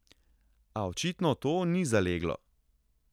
A očitno to ni zaleglo.